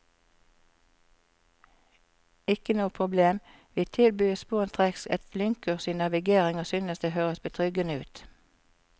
Ikke noe problem, vi tilbys sporenstreks et lynkurs i navigering og synes det høres betryggende ut.